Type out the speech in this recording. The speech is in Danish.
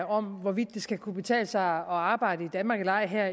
om hvorvidt det skal kunne betale sig at arbejde i danmark eller ej her